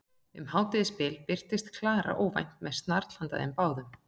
Um hádegisbil birtist Klara óvænt með snarl handa þeim báðum.